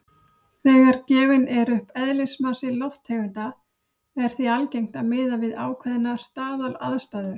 Þegar gefinn er upp eðlismassi lofttegunda er því algengt að miða við ákveðnar staðalaðstæður.